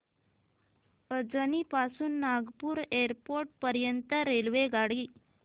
अजनी पासून नागपूर एअरपोर्ट पर्यंत रेल्वेगाडी